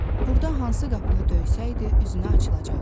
Burda hansı qapını döysəydi, üzünə açılacaqdı.